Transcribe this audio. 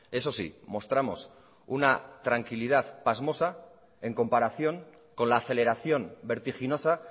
eso sí mostramos una tranquilidad pasmosa en comparación con la aceleración vertiginosa